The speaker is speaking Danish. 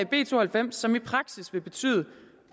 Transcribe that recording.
b to og halvfems som i prasis vil betyde